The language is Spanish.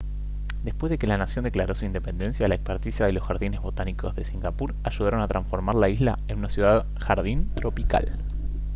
después de que la nación declaró su independencia la experticia de los jardines botánicos de singapur ayudaron a transformar la isla en una ciudad jardín tropical